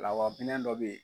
Lawa minɛn dɔ be ye